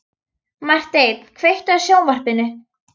Marteinn, kveiktu á sjónvarpinu.